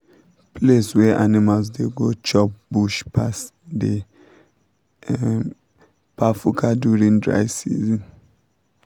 place wey animals da go chop bush pass dey kpafuka during dry season